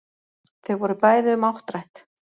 Þau voru bæði um áttrætt